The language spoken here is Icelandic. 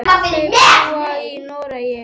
Þau búa í Noregi.